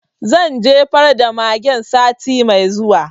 Zan jefar da magen sati mai zuwa